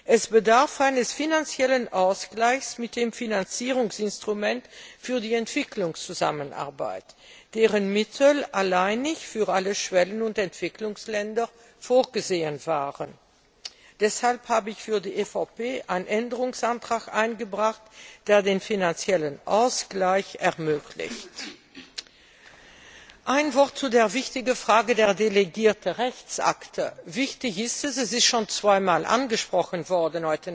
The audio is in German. Es bedarf eines finanziellen Ausgleichs mit dem Finanzierungsinstrument für die Entwicklungszusammenarbeit, dessen Mittel alleinig für alle Schwellen und Entwicklungsländer vorgesehen waren. Deshalb habe ich für die EVP einen Änderungsantrag eingebracht, der den finanziellen Ausgleich ermöglicht. Ein Wort zu der wichtigen Frage der delegierten Rechtsakte diese ist wichtig, sie ist heute Nachmittag schon zweimal angesprochen worden.